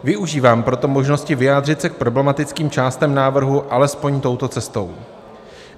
Využívám proto možnosti vyjádřit se k problematickým částem návrhu alespoň touto cestou.